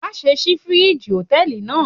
Má ṣe ṣí fíríjì Hòtẹ́lìì náà.